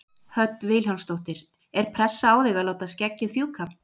Hödd Vilhjálmsdóttir: Er pressa á þig að láta skeggið fjúka?